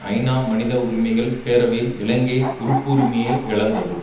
ஐநா மனித உரிமைகள் பேரவையில் இலங்கை உறுப்புரிமையை இழந்தது